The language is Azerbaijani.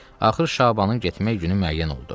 Axır Şabanın getmək günü müəyyən oldu.